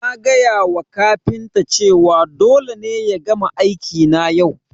Na gaya wa kafinta cewa dole ne ya gama aiki na yau